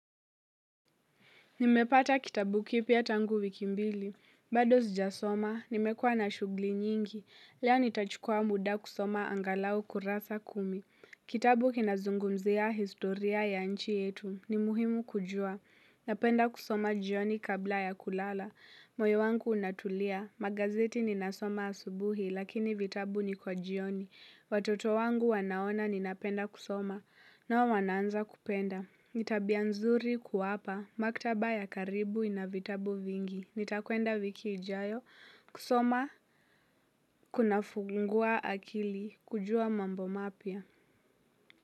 Nimepata kitabu kipia tangu wikimbili. Bado zijasoma, nimekua na shugli nyingi. Leo nitachukua muda kusoma angalau kurasa kumi. Kitabu kinazungumzia historia ya nchi yetu. Ni muhimu kujua. Napenda kusoma jioni kabla ya kulala. Moyo wangu unatulia. Magazeti ninasoma asubuhi, lakini vitabu ni kwa jioni. Watoto wangu wanaona ninapenda kusoma. Nao wanaanza kupenda. Tabia nzuri kuapa. Maktaba ya karibu ina vitabu vingi. Nitakwenda wiki ijayo kusoma kunafungua akili kujua mambo mapya.